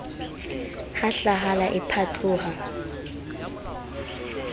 ha hlahala e phatloha e